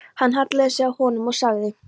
Hann hallaði sér að honum og sagði